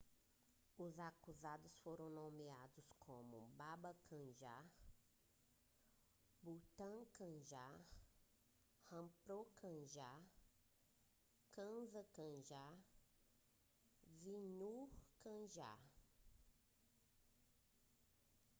os acusados foram nomeados como baba kanjar bhutha kanjar rampro kanjar gaza kanjar e vishnu kanjar